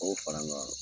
O fara an kan